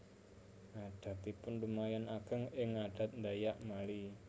Adatipun lumayan ageng ing adat Dayak Mali